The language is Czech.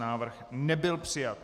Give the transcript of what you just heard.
Návrh nebyl přijat.